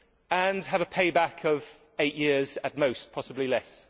and have a payback of eight years at most, possibly less.